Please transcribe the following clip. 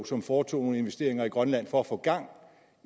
som foretog nogle investeringer i grønland for at få gang